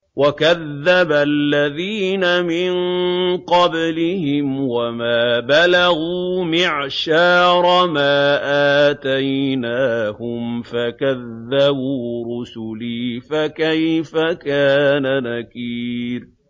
وَكَذَّبَ الَّذِينَ مِن قَبْلِهِمْ وَمَا بَلَغُوا مِعْشَارَ مَا آتَيْنَاهُمْ فَكَذَّبُوا رُسُلِي ۖ فَكَيْفَ كَانَ نَكِيرِ